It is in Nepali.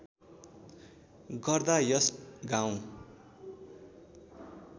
गर्दा यस गाउँ